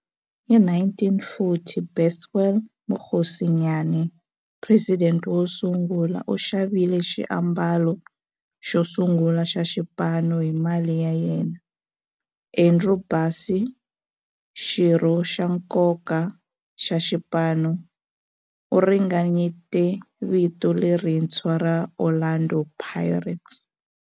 Hi 1940, Bethuel Mokgosinyane, president wosungula, u xavile xiambalo xosungula xa xipano hi mali ya yena. Andrew Bassie, xirho xa nkoka xa xipano, u ringanyete vito lerintshwa ra 'Orlando Pirates'.